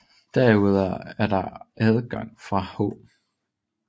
Derudover er der adgange fra H